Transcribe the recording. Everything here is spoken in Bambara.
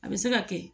A bɛ se ka kɛ